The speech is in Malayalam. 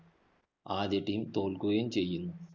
ആദ്യ team തോല്‍ക്കുകയും ചെയ്യുന്നു.